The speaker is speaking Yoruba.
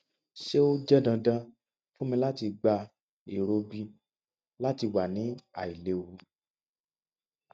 ṣe o jẹ dandan fun mi lati gba ero b lati wa ni ailewu